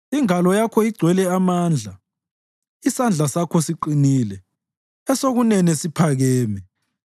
Ingalo yakho igcwele amandla; isandla sakho siqinile, esokunene siphakeme.